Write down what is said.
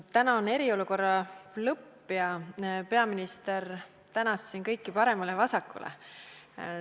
Täna on eriolukorra lõpp ja peaminister tänas siin kõiki paremale ja vasakule.